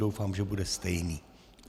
Doufám, že bude stejný.